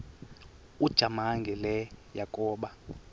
ujamangi le yakoba